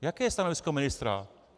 Jaké je stanovisko ministra?